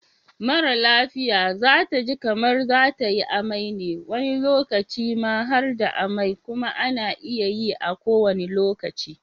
Mara lafia zataji kamar zatayi amai ne wani lokacin ma harda amai kuma ana iya yi a kowanne lokaci